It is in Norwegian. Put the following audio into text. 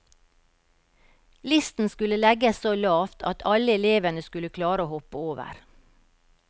Listen skulle legges så lavt at alle elevene skulle klare å hoppe over.